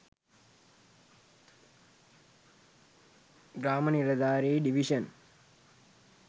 grama niladhari division